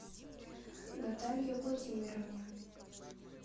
наталье владимировне